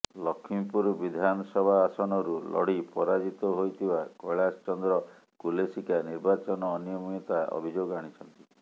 ଲକ୍ଷ୍ମୀପୁର ବିଧାନସଭା ଆସନରୁ ଲଢ଼ି ପରାଜିତ ହୋଇଥିବା କୈଳାଶ ଚନ୍ଦ୍ର କୁଲେସିକା ନିର୍ବାଚନ ଅନିୟମତିତା ଅଭିଯୋଗ ଆଣିଛନ୍ତି